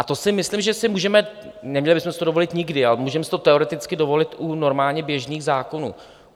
A to si myslím, že si můžeme - neměli bychom si to dovolit nikdy, ale můžeme si to teoreticky dovolit u normálně běžných zákonů.